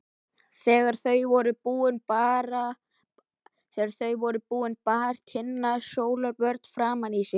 Þegar þau voru búin bar Tinna sólarvörn framan í sig.